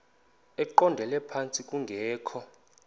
eqondele phantsi kungekho